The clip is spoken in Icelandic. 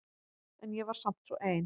En ég var samt svo ein.